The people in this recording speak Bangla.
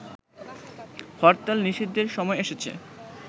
হরতাল নিষিদ্ধের সময় এসেছে